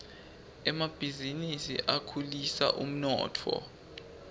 emabhizinisi akhulisa umnotfo